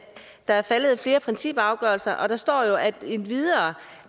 der er faldet flere principafgørelser og her står endvidere